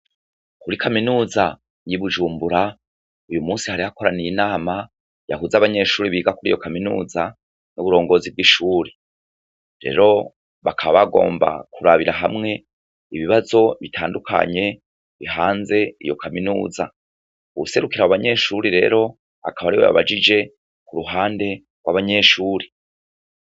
Muri kaminuza y'i Bujumbura, uyu musi hari hakoraniye inama yahuza abanyeshuri biga kuri iyo kaminuza n'uburongozi bw'ishuri. Rero bakaba bagomba kurabira hamwe ibibazo bitandukanye bihanze iyo kaminuza. Uwuserukira abo banyeshure akaba ari we yabajije ku ruhande rw'abanyeshuri.